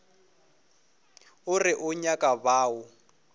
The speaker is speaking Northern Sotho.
o re o nyaka bao